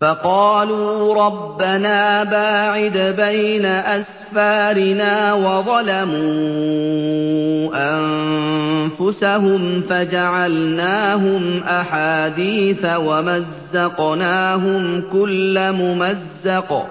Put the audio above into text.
فَقَالُوا رَبَّنَا بَاعِدْ بَيْنَ أَسْفَارِنَا وَظَلَمُوا أَنفُسَهُمْ فَجَعَلْنَاهُمْ أَحَادِيثَ وَمَزَّقْنَاهُمْ كُلَّ مُمَزَّقٍ ۚ